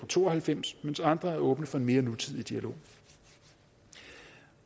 to og halvfems mens andre er åbne for en mere nutidig dialog